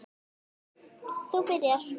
Þú byrjar.